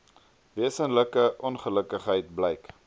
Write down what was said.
wesenlike ongelukkigheid blyk